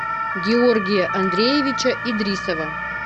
георгия андреевича идрисова